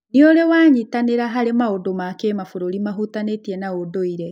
nĩ ũrĩ wanyitanĩra harĩ maũndũ ma kĩmabũrũri mahutanĩtie na ũndũire?